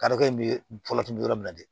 Karikɛ in bɛ fɔlɔ tun bɛ yɔrɔ min na de